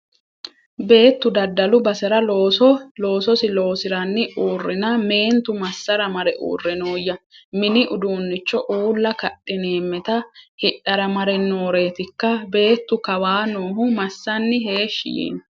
Beettu daddalu basera loososi loosiranni uurrinna meentu massara mare uurre nooyya? Mini uduunnicho uulla kadhineemeta hidhara mare nooretikka? Beettu kawaa noohu massanni heeshshi yiino?